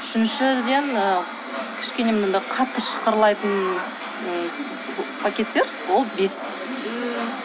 үшіншіден і кішкене мынандай қатты шықырлайтын пакеттер і ол бес